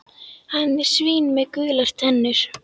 Hann er svín með gular tennur.